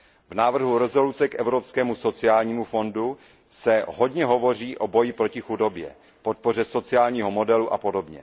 V návrhu usnesení o Evropském sociálním fondu se hodně hovoří o boji proti chudobě, podpoře sociálního modelu apod.